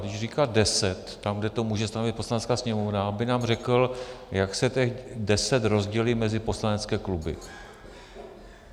Když říká deset tam, kde to může stanovit Poslanecká sněmovna, aby nám řekl, jak se těch deset rozdělí mezi poslanecké kluby.